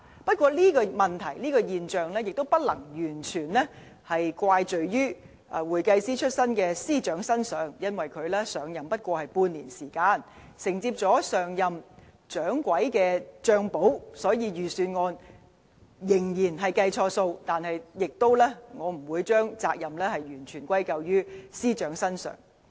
不過，這個問題和現象，也不能完全怪罪於會計師出身的司長，因為他上任還沒有半年時間，承接上任"掌櫃"的帳簿，所以雖然預算案仍然錯估盈餘，但我不會將責任完全歸咎於司長。